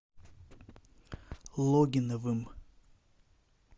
логиновым